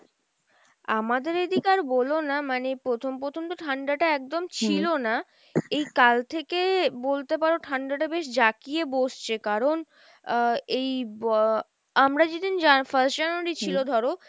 আমাদের এদিকে আর বোলো না মানে প্রথম প্রথম তো ঠাণ্ডা টা একদম ছিলো না, এই কাল থেকে বলতে পারো ঠাণ্ডা টা বেশ জাকিয়ে বসছে কারন আহ এই আহ আমরা যেদিন first January ছিল ধরো,